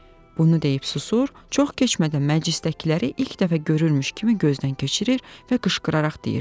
Bunu deyib susur, çox keçmədən məclisdəkiləri ilk dəfə görürmüş kimi gözdən keçirir və qışqıraraq deyirdi.